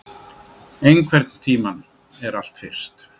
Einhvern tímann er allt fyrst